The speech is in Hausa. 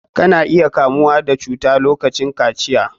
Ka na iya kamuwa da cuta lokacin kaciya.